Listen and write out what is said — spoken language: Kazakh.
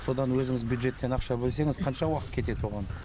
содан өзіңіз бюджеттен ақша бөлсеңіз қанша уақыт кетеді бұған